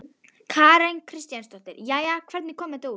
Karen Kjartansdóttir: Jæja, hvernig kom þetta út?